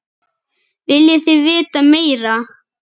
Viljið þið vita meira?